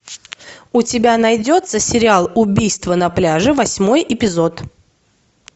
у тебя найдется сериал убийство на пляже восьмой эпизод